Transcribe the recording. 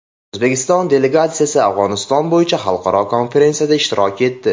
O‘zbekiston delegatsiyasi Afg‘oniston bo‘yicha xalqaro konferensiyada ishtirok etdi.